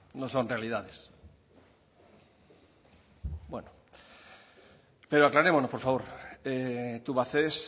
no son realidades bueno pero aclarémonos por favor tubacex